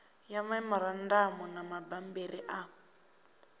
ya memorandamu na mabambiri a